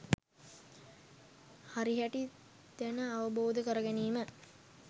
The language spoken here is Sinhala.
හරිහැටි දැන අවබෝධ කර ගැනීම